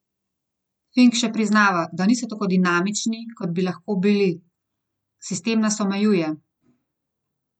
Fink še priznava, da niso tako dinamični, kot bi lahko bili: "Sistem nas omejuje.